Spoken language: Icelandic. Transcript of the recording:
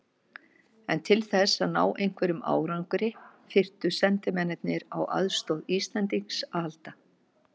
En til þess að ná einhverjum árangri þyrftu sendimennirnir á aðstoð Íslendings að halda.